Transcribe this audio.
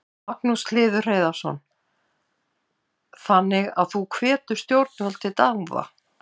Magnús Hlynur Hreiðarsson: Þannig að þú hvetur stjórnvöld til dáða?